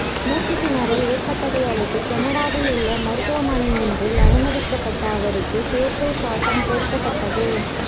மூச்சுத் திணறல் ஏற்பட்டதையடுத்து கனடாவில் உள்ள மருத்துவமனை ஒன்றில் அனுமதிக்கப்பட்ட அவருக்கு செயற்கை சுவாசம் பொருத்தப்பட்டது